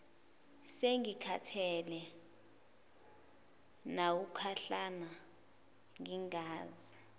sengikhathele nawukuhlala ngingazi